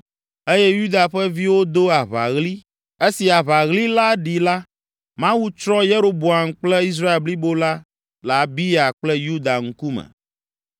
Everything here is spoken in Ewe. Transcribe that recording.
eye Yuda ƒe viwo do aʋaɣli. Esi aʋaɣli la ɖi la, Mawu tsrɔ̃ Yeroboam kple Israel blibo la le Abiya kple Yuda ŋkume.